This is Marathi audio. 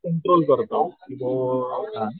कंट्रोल करतो की जो